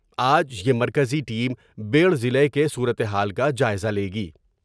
آج یہ مرکزی ٹیم بیڑھ ضلع کے صورتحال کاجائزہ لے گی ۔